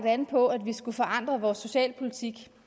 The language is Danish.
an på at vi skulle forandre vores socialpolitik